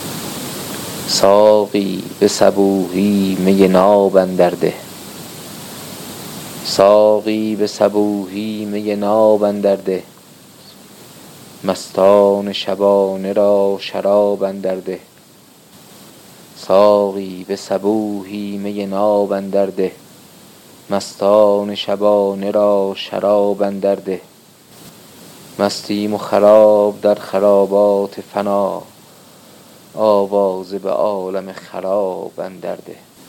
ساقی به صبوحی می ناب اندر ده مستان شبانه را شراب اندر ده مستیم و خراب در خرابات فنا آوازه به عالم خراب اندر ده